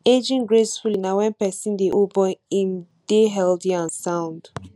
ageing gracefully na when person dey old but im dey healthy and sound